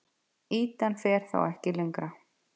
Ýtan fer þá ekki lengra.